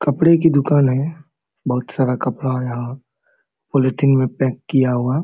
कपड़े की दुकान हैबहुत सारा कपड़ा है यहाँ पॉलीथिन मे पैक किया हुआ ।